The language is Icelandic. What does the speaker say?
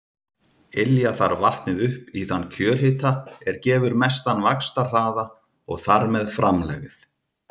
Ylja þarf vatnið upp í þann kjörhita er gefur mestan vaxtarhraða og þar með framlegð.